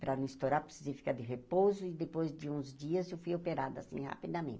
Para não estourar, precisei ficar de repouso e depois de uns dias eu fui operada assim